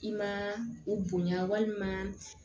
I ma u bonya walima